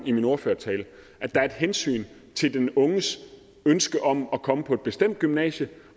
i min ordførertale at der er et hensyn til den unges ønske om at komme på et bestemt gymnasie